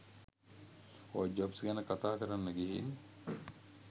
ඔය ජොබ්ස් ගැන කතා කරන්න ගිහින්